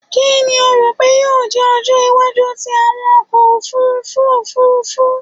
Kini o ro pe yoo jẹ ọjọ iwaju ti awọn ọkọ ofurufu ofurufu?